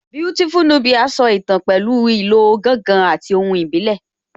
Beautiful Nubia so ìtàn pẹ̀lú ìlò ìlù gángan àti ohùn ìbílẹ̀